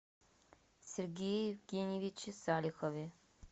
сергее евгеньевиче салихове